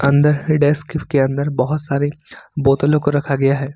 अंदर डेस्क के अंदर बहोत सारे बोतलों को रखा गया है।